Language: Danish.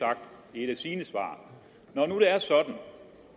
et af sine svar